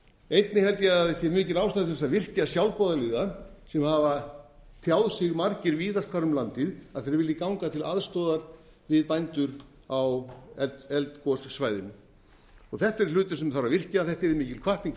einnig held ég að það sé mikil ástæða til þess að virkja sjálfboðaliða sem hafa tjáð sig margir víðast hvar um landið að þeir vilji ganga til aðstoðar við bændur á eldgosasvæðinu þetta er hlutur sem þarf að virkja þetta yrði mikil hvatning fyrir